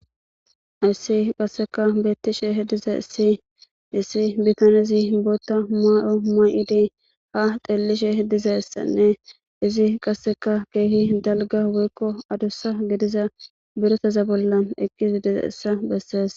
Hayssi qasseka beettishe he diza issihissi bitanezi bootta maayo ma'idi ha dellishe dizeessanne izi qasseka geehi dalga woykko adossa gidiza biretaza bollan eqqisi diza issa bessees